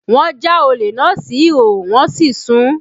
Wọn já olè náà sí ìhòòhò wọn sì sun ún